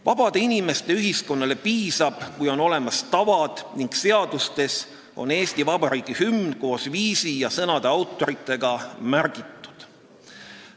Vabade inimeste ühiskonnale piisab, kui on olemas tavad ning seadustes on Eesti Vabariigi hümn koos viisi ja sõnade autoritega märgitud.